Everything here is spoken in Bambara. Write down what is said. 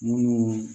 Munnu